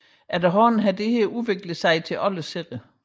Efterhånden har dette udviklet sig til alle sider